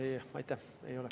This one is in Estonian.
Ei, aitäh, ei ole.